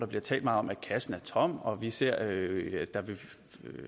blev talt meget om at kassen er tom og hvor vi ser at